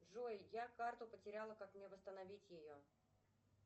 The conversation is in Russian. джой я карту потеряла как мне восстановить ее